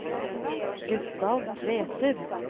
Gustav Tveter